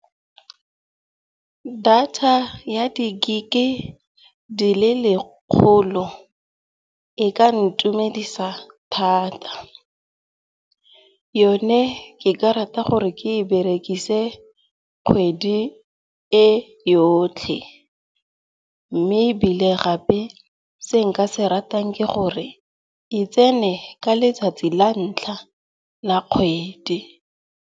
Data ya di gig-e di le lekgolo e ka ntumedisa thata. Yone ke ka rata gore ke e berekise kgwedi e yotlhe. Mme ebile gape se nka se ratang ke gore e tsene ka letsatsi la ntlha la kgwedi.